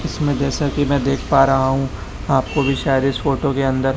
इसमें जैसा कि मैं देख पा रहा हूं आपको भी शायद इस फोटो के अंदर--